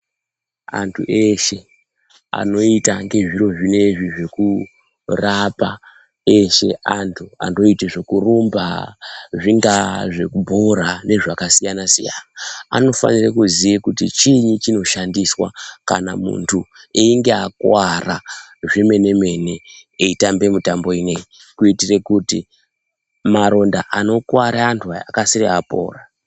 Antu eshe anoita ngezviro zvinezvi zvekurapa eshe antu anoita zvekurumba. Zvingaa zvekubhora nezvakasiyana siyana. Anofanira kuziye kuti chiinyi chinoshandiswa kana muntu einge akuwara zvemene mene eitamba mutambo ineyi. Kuitira kuti maronda anokuwara antu aya akasire apora.